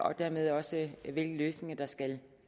og dermed også hvilke løsninger der skal